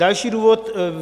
Další důvod.